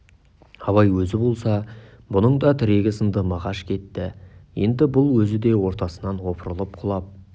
абай өзі болса бұның да тірегі сынды мағаш кетті енді бұл өзі де ортасынан опырылып құлап